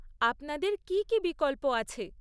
আপনাদের কী কী বিকল্প আছে?